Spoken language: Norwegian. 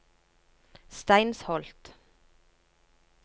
Steinsholt